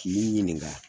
K'i ɲininka